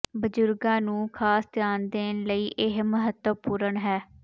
ਬਜ਼ੁਰਗਾਂ ਨੂੰ ਖਾਸ ਧਿਆਨ ਦੇਣ ਲਈ ਇਹ ਮਹੱਤਵਪੂਰਣ ਹੈ